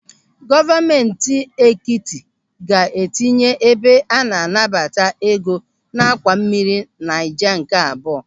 Gọọmenti etiti ga-etinye ebe a na-anata ego n'àkwà mmiri Naija nke abụọ.